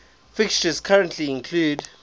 fixtures currently include